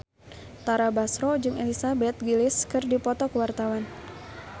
Tara Basro jeung Elizabeth Gillies keur dipoto ku wartawan